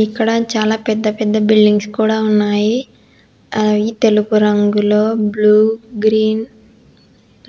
ఈక్కడ చాలా పెద్ద పెద్ద బిల్డింగ్స్ కూడా ఉన్నాయి అవి తెలుపు రంగులో బ్లూ గ్రీన్